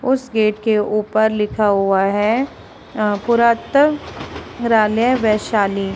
उस गेट के ऊपर लिखा हुआ है अ पुरातत्व संग्रहालय वैशाली।